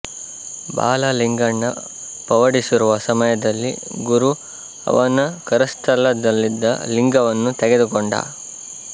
ಬಾಲ ಲಿಂಗಣ್ಣ ಪವಡಿಸಿರುವ ಸಮಯದಲ್ಲಿ ಗುರು ಅವನ ಕರಸ್ಥಲದಲ್ಲಿದ್ದ ಲಿಂಗವನ್ನು ತೆಗೆದುಕೊಂಡ